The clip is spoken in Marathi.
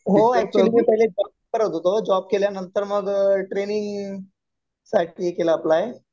हो. ऍक्चुअली मी पहिले जॉब करत होतो. जॉब केल्यानंतर मग ट्रेनिंग साठी केला अप्लाय.